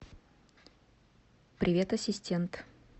привет ассистент